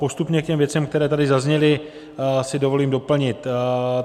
Postupně k těm věcem, které tady zazněly, si dovolím doplnit.